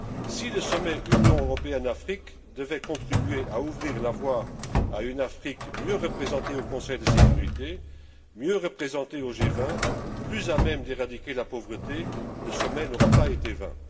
Si le sommet Union européenne Afrique devait contribuer à ouvrir la voie à une Afrique mieux représentée au Conseil de sécurité, mieux représentée au G20, plus à même d'éradiquer la pauvreté, le sommet n'aura pas été vain.